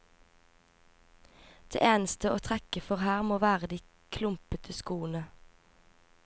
Det eneste å trekke for her må være de klumpete skoene.